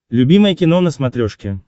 любимое кино на смотрешке